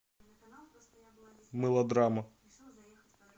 мылодрама